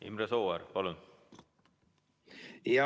Imre Sooäär, palun!